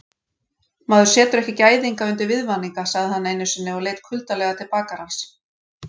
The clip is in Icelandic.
Maður setur ekki gæðinga undir viðvaninga, sagði hann einusinni og leit kuldalega til bakarans.